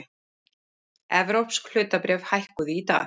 Evrópsk hlutabréf hækkuðu í dag